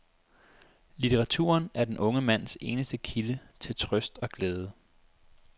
Litteraturen er den unge mands eneste kilde til trøst og glæde.